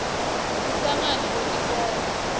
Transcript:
kuhlangana kwetinkholo